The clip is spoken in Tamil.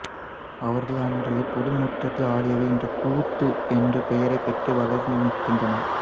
அவர்கள் அன்று பொது முற்றத்தில் ஆடியவை இன்று கூத்து என்ற பெயரைப் பெற்று வளர்ந்து நிற்கின்றன